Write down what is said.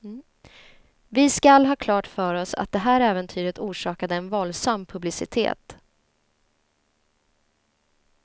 Vi skall ha klart för oss att det här äventyret orsakade en våldsam publicitet.